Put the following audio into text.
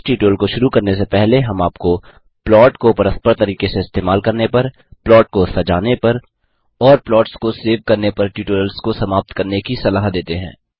इस ट्यूटोरियल को शुरू करने से पहले हम आपको प्लॉट को परस्पर तरीके से इस्तेमाल करने पर प्लॉट को सजाने पर और प्लॉट्स को सेव करने पर ट्यूटोरियल्स को समाप्त करने की सलाह देते हैं